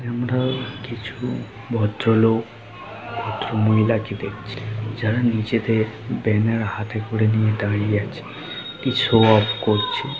আমরা কিছু ভদ্র লোক ভদ্র মহিলা কে দেখছি। যারা নিজেদের ব্যানার হাতে করে নিয়ে দাঁড়িয়ে আছে। কি শো অফ করছে।